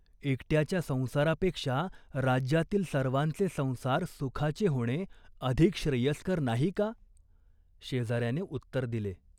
एकट्याच्या संसारापेक्षा राज्यातील सर्वांचे संसार सुखाचे होणे अधिक श्रेयस्कर नाही का ?" शेजाऱ्याने उत्तर दिले.